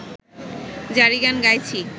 জারিগান গাইছি